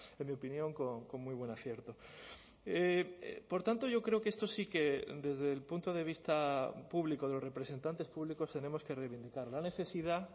en mi opinión con muy buen acierto por tanto yo creo que esto sí que desde el punto de vista público de los representantes públicos tenemos que reivindicar la necesidad